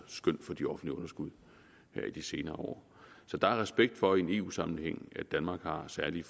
skøn for de offentlige underskud her i de senere år så der er respekt for i en eu sammenhæng at danmark har særlige